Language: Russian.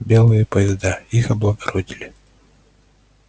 белые поезда их облагородили